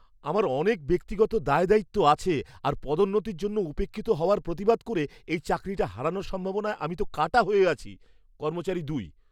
আমার অনেক ব্যক্তিগত দায়দায়িত্ব আছে আর পদোন্নতির জন্য উপেক্ষিত হওয়ার প্রতিবাদ করে এই চাকরিটা হারানোর সম্ভাবনায় আমি তো কাঁটা হয়ে আছি। কর্মচারী দুই